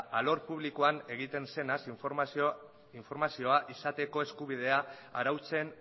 alor publikoan egiten zenaz informazioa izateko eskubidea arautzen